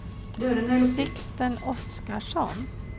Sixten Oskarsson